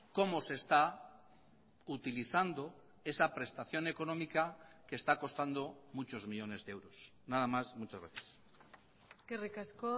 cómo se está utilizando esa prestación económica que está costando muchos millónes de euros nada más muchas gracias eskerrik asko